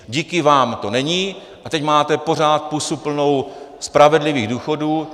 Díky vám to není a teď máte pořád pusu plnou spravedlivých důchodů.